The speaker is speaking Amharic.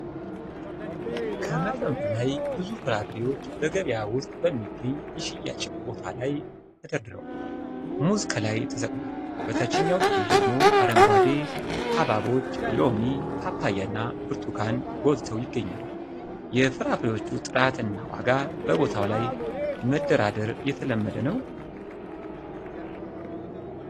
ከመጠን በላይ ብዙ ፍራፍሬዎች በገበያ ውስጥ በሚገኝ የሽያጭ ቦታ ላይ ተደርድረዋል። ሙዝ ከላይ ተሰቅሏል፤ በታችኛው ክፍል ደግሞ አረንጓዴ ሐብሐቦች፣ ሎሚ፣ ፓፓያ እና ብርቱካን ጎልተው ይገኛሉ። የፍራፍሬዎቹን ጥራት እና ዋጋ በቦታው ላይ መደራደር የተለመደ ነው?